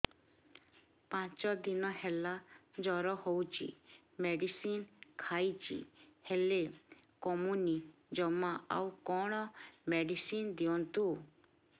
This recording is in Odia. ପାଞ୍ଚ ଦିନ ହେଲା ଜର ହଉଛି ମେଡିସିନ ଖାଇଛି ହେଲେ କମୁନି ଜମା ଆଉ କଣ ମେଡ଼ିସିନ ଦିଅନ୍ତୁ